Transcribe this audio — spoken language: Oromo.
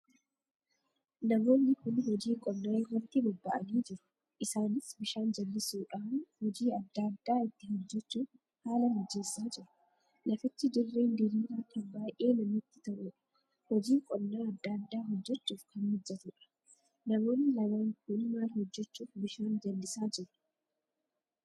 Namoonni kun hojii qonnaa irratti bobbaa'anii jiru isaanis bishaan jallisuudhaan hojii adda addaa itti hojjechuuf haala mijeessaa jiru. lafichi dirreen diriiraa kan baay'ee namatti toluudha hojii qonnaa adda addaa hojjechuuf kan mijatuudha. namoon lamaan Kun maal hojjechuuf bishaan jallisaa jiru?